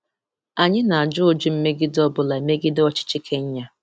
Anyị na-ajụ ụdị mmegide ọ bụla megide ọchịchị Kenya.